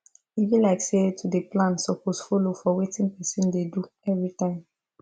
e be like say to dey plan suppose follow for wetin person dey do everytime